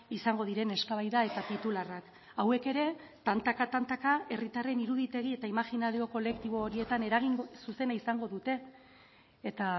izango diren eztabaida eta titularrak hauek ere tantaka tantaka herritarren iruditegi eta imaginario kolektibo horietan eragin zuzena izango dute eta